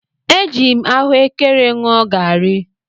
Eji m ahụekere ṅụọ garị.